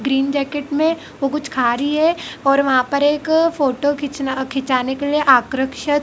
green jacket में ओ कुछ खा रही है और वहां पर एक फोटो खींचना खिंचाने के लिए आक्रक्षत--